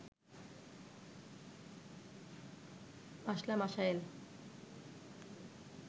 মাসলা মাসায়েল